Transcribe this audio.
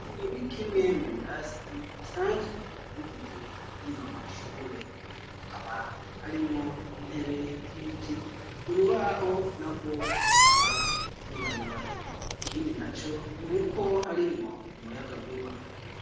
Iki ni kimwe mu birasi bisanzwe bigize rino shure hakaba harimwo intebe z'ibiti urubaho narwo rukaba rwirabura ikindi na co nuko harimwo umuyagankuba.